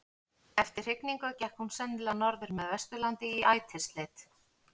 Eftir hrygningu gekk hún sennilega norður með Vesturlandi í ætisleit.